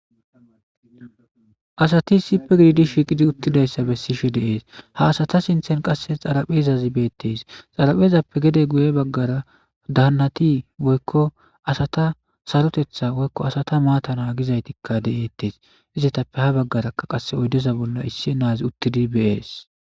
asati isippe gididi shiiqidi uttidayssa bessishe de'ees ha asata sinthen qasse xaraphezazi beettes xaraphezappe gede guye baggara daannati woykko asata sarotetha woykko asata maatana gizaytikka de'eettes izetappe ha baggarakka qasse oydeza bolla issi naazi uttidi bees